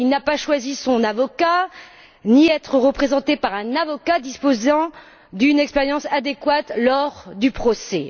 Il n'a pas choisi son avocat, ni décidé d'être représenté par un avocat disposant d'une expérience adéquate lors du procès.